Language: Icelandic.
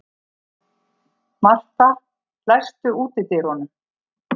Martha, læstu útidyrunum.